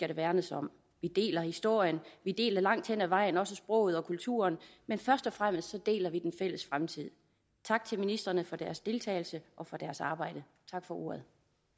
der værnes om vi deler historien vi deler langt hen ad vejen også sproget og kulturen men først og fremmest deler vi den fælles fremtid tak til ministrene for deres deltagelse og for deres arbejde tak for ordet